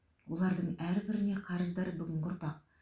олардың әрбіріне қарыздар бүгінгі ұрпақ